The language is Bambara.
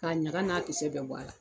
K'a ɲaga n'a kisɛ bɛɛ bɔ a la.